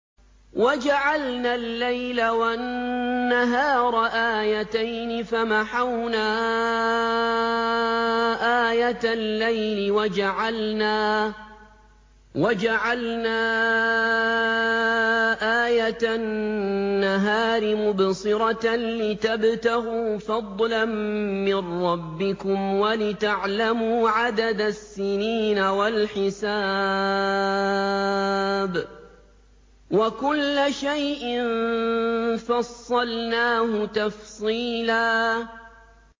وَجَعَلْنَا اللَّيْلَ وَالنَّهَارَ آيَتَيْنِ ۖ فَمَحَوْنَا آيَةَ اللَّيْلِ وَجَعَلْنَا آيَةَ النَّهَارِ مُبْصِرَةً لِّتَبْتَغُوا فَضْلًا مِّن رَّبِّكُمْ وَلِتَعْلَمُوا عَدَدَ السِّنِينَ وَالْحِسَابَ ۚ وَكُلَّ شَيْءٍ فَصَّلْنَاهُ تَفْصِيلًا